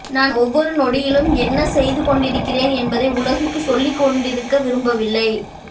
நான் ஒவ்வொரு நொடியிலும் என்ன செய்து கொண்டிருக்கிறேன் என்பதை உலகுக்குச் சொல்லிக் கொண்டிருக்க விரும்பவில்லை